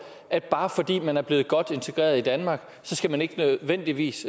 at bare fordi man er blevet godt integreret i danmark skal man ikke nødvendigvis